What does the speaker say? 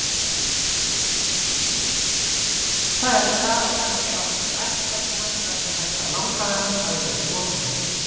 Þar er kannski átt við ættgöfgi hans vegna þess að langafi hans hafði verið konungur.